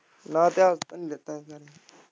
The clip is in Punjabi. ਮੈਂ ਤੇ ਇਤਿਹਾਸ ਦਾ ਨਹੀਂ ਦਿੱਤਾ ਸੀ ਗਾ।